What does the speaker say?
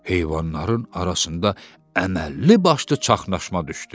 Heyvanların arasında əməlli başlı çaşnaşma düşdü.